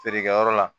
Feerekɛyɔrɔ la